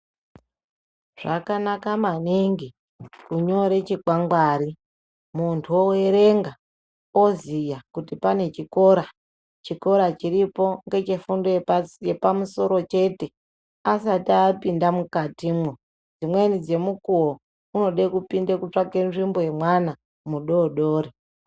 Zvakanaka maningi kunyora chikwangwari muntu oerenga oziya kuti pane chikora. Chikora chiripo ngechefundo yepamusoro chete asati apinda mukatimwo. Dzimweni dzemukuwo unoda kupinda kutsvaka nzvimbo yemwana mudodori.